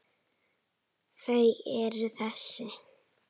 Þau eru þessi: